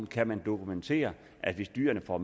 kan man dokumentere at hvis dyrene får